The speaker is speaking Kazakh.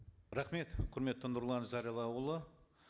рахмет құрметті нұрлан зайроллаұлы